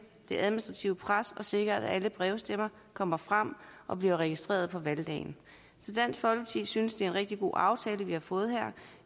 det administrative pres og sikre at alle brevstemmer kommer frem og bliver registreret på valgdagen så dansk folkeparti synes det er en rigtig god aftale vi har fået her